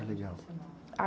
É legal.nde você mora?h.